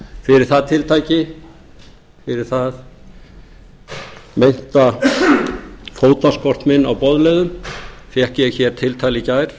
fyrir það tiltæki fyrir þann meinta fótaskort minn á boðleiðum fékk ég hér tiltal í gær